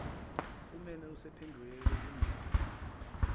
uneme usephendukela kumdlaka